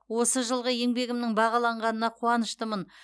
осы жылғы еңбегімнің бағаланғанына қуаныштымын